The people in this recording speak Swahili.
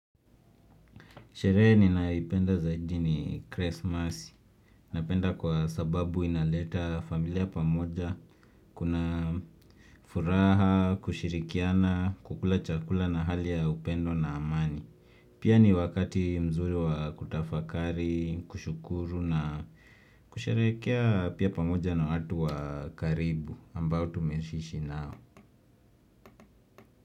Sherehe ninayoipenda zaidi ni Christmas. Napenda kwa sababu inaleta familia pamoja. Kuna furaha, kushirikiana, kukula chakula na hali ya upendo na amani. Pia ni wakati mzuri wa kutafakari, kushukuru na kusherekea pia pamoja na watu wa karibu ambao tumeishi ishi nao.